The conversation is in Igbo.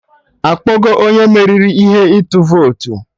Akpọgo onye meriri ihe ịtụ votu